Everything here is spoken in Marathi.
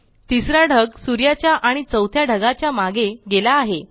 तिसरा ढग सूर्याच्या आणि चौथ्या ढगाच्या मागे गेला आहे